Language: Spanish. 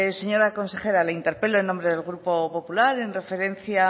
señora consejera le interpelo en el nombre del grupo popular en referencia